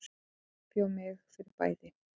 Ég undirbjó mig fyrir bæði.